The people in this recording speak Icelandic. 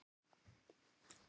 Ég spyr mig ansi oft að því